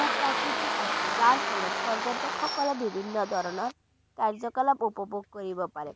ভূ-প্ৰাকৃতিক আছে যাৰ ফলত পৰ্য্যটক সকলে বিভিন্ন ধৰণৰ কাৰ্য্য-কলাপ উপভোগ কৰিব পাৰে